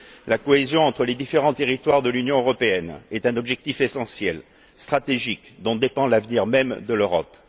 La cohésion entre les différents territoires de l'Union européenne est un objectif essentiel, stratégique, dont dépend l'avenir même de l'Europe.